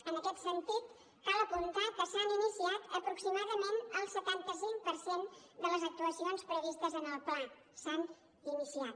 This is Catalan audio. en aquest sentit cal apuntar que s’han iniciat aproximadament el setanta cinc per cent de les actuacions previstes en el pla s’han iniciat